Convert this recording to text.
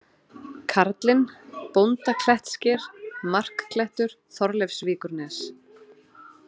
Karlinn, Bóndaklettssker, Markklettur, Þorleifsvíkurnes